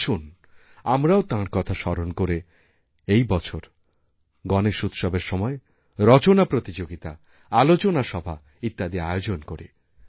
আসুন আমরাও তাঁর কথা স্মরণ করে এই বছর গণেশ উৎসবের সময় রচনা প্রতিযোগিতা আলোচনাসভা ইত্যাদি আয়োজন করি